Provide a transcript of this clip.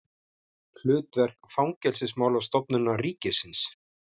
Hlutverk Fangelsismálastofnunar ríkisins.